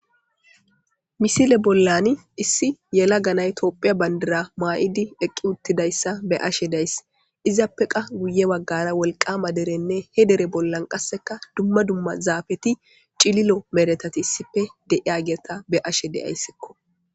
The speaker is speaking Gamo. Misile bollan issi yela ganay Tophiya bandira maa'idi eqqi uttidayssa be ashe dayss. Izappe qa guye waggara wolqama derenne he dere bollan qasseka dumma dumma zaafeti c'ililo meretati issife deiya gerta be ashe deyayssekko.